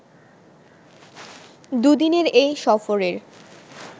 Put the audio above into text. দুদিনের এই সফরের